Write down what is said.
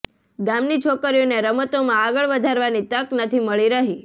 ગામની છોકરીઓને રમતોમાં આગળ વધારવાની તક નથી મળી રહી